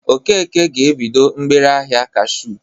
Okeke ga-ebido mgbereahịa kashuu